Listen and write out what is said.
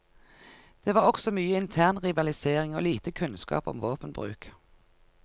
Det var også mye intern rivalisering og lite kunnskap om våpenbruk.